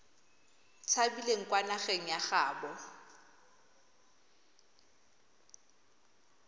tshabileng kwa nageng ya gaabo